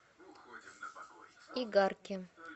игарке